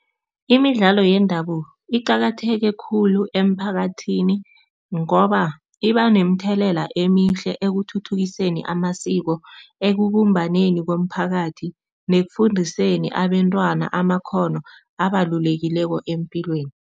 Imidlalo yendabuko iqakatheke khulu emphakathini ngoba iba nomthelela emihle ekuthuthukiseni amasiko, ekubumbaneni komphakathi nekufundiseni abentwana amakghono abalulekileko epilweni.